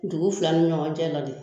Dugu fila ni ɲɔgɔn cɛ ladi